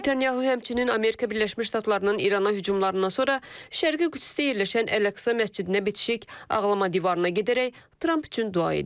Netanyahu həmçinin Amerika Birləşmiş Ştatlarının İrana hücumlarından sonra Şərqi Qüdsdə yerləşən Ələqsa məscidinə bitişik ağlama divarına gedərək Tramp üçün dua edib.